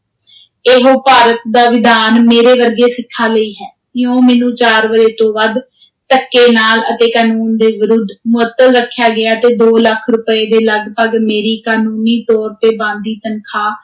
ਇਹੋ ਭਾਰਤ ਦਾ ਵਿਧਾਨ ਮੇਰੇ ਵਰਗੇ ਸਿੱਖਾਂ ਲਈ ਹੈ, ਇਉਂ ਮੈਨੂੰ ਚਾਰ ਵਰ੍ਹੇ ਤੋਂ ਵੱਧ, ਧੱਕੇ ਨਾਲ ਅਤੇ ਕਾਨੂੰਨ ਦੇ ਵਿਰੁੱਧ, ਮੁਅੱਤਲ ਰੱਖਿਆ ਗਿਆ ਤੇ ਦੋ ਲੱਖ ਰੁਪਏ ਦੇ ਲਗਭਗ ਮੇਰੀ ਕਾਨੂੰਨੀ ਤੌਰ 'ਤੇ ਬਣਦੀ ਤਨਖ਼ਾਹ,